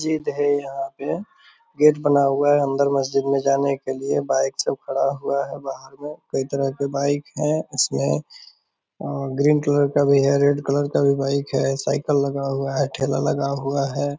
मस्जिद है यहाँ पे गेट बना हुआ है अंदर मस्जिद में जाने के लिए बाइक सब खड़ा हुआ है। बाहर में कई तरह के बाइक हैं इसमें और ग्रीन कलर का भी है और रेड कलर का भी बाइक है। साईकल लगा हुआ है ठेला लगा हुआ है।